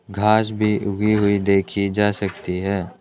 घास भी उगी हुई देखी जा सकती है।